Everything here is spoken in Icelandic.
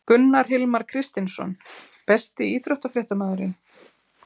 Gunnar Hilmar Kristinsson Besti íþróttafréttamaðurinn?